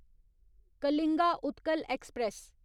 Kalinga Utkal express